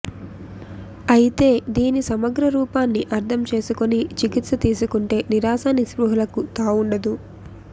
అయితే దీని సమగ్ర రూపాన్ని అర్థం చేసుకుని చికిత్స తీసుకుంటే నిరాశా నిస్పృహలకు తావుండదు